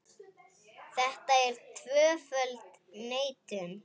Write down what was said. Þetta er tvöföld neitun.